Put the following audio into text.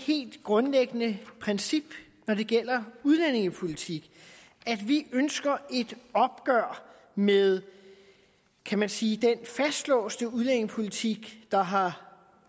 helt grundlæggende princip når det gælder udlændingepolitik at vi ønsker et opgør med kan man sige den fastlåste udlændingepolitik der har